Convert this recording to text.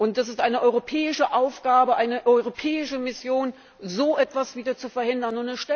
Es ist eine europäische Aufgabe, eine europäische Mission, so etwas wieder zu verhindern.